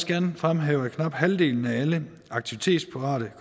gerne fremhæve at knap halvdelen af alle aktivitetsparate